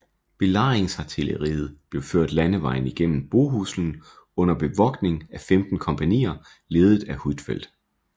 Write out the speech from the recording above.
Belejringsartilleriet blev ført landevejen gennem Bohuslen under bevogtning af 15 kompagnier ledet af Huitfeldt